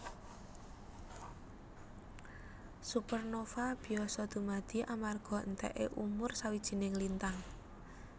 Supernova biasa dumadi amarga entèké umur sawijining lintang